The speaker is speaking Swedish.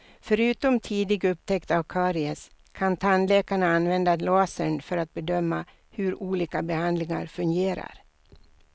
Förutom tidig upptäckt av karies kan tandläkarna använda lasern för att bedöma hur olika behandlingar fungerar.